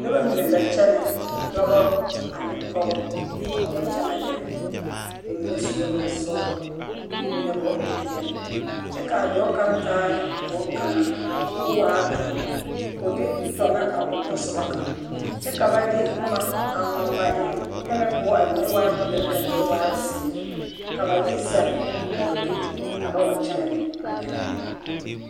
Nobɔ mine la kyɛnɛ dɔbɔ ane pɔgebɔ a wa kyɛnɛ gɛrɛ ba mine sue bonsɔglɔ ba mine bompeɛl kyɛ kaa dɔɔ kaŋ taa boŋ kaŋa koo waa doɔ koo de tɔ na a o tasoba kaŋ kyɛ ka ba de boma a ŋma ŋma eŋ pɛmɛ poɔ a mine waa peɛl kaa mine waa zeere ka ba de zɛge kaa do ka ba wa kyɛ ne a gɛrɛ ne.